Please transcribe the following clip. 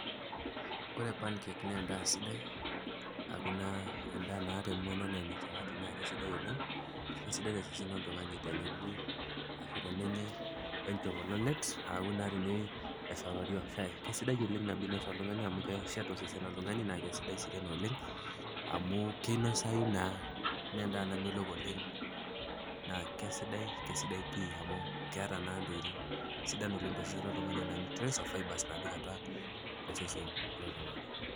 Kore pancake naa endaa sidai, aaku naa endaa naata emean natiu anaa ene chapati, naake sidai oleng' kesidai naleng' tosesen loltung'ani tenekuri, ashu tenenyai we enchopololet, neaku naa tenei shoori o shai keisidai eleng' nabo einos oltung'ani amu, keshet osesen loltung'ani, naake sidai sii tena oleng' amu keinosayu naa naa endaa namelok oleng' naa kesidai, kesidai pii amu keata naa intokitin sidan oleng'tosesen loltung'ani anaa nutrients o fibre apik atua osesen, loltung'ani.